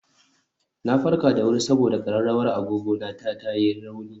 Na farka da wuri saboda ƙararrawar agogo ta ta yi rauni